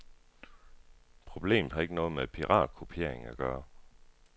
Problemet har ikke noget med piratkopiering at gøre.